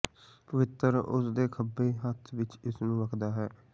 ਪਵਿੱਤਰ ਉਸ ਦੇ ਖੱਬੇ ਹੱਥ ਵਿੱਚ ਇਸ ਨੂੰ ਰੱਖਦਾ ਹੈ